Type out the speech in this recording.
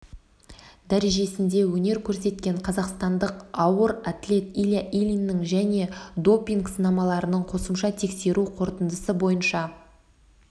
дәрежесінде өнер көрсеткен қазақстандық ауыр атлет илья ильиннің және допинг сынамаларының қосымша тексеру қорытындысы бойынша